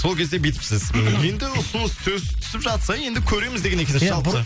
сол кезде бүйтіпсіз енді ұсыныс түсіп жатса енді көреміз деген екенсіз жалпы